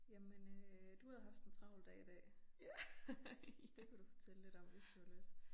Jamen øh du havde haft en tralv dag i dag. Det kunne du fortælle lidt om hvis du har lyst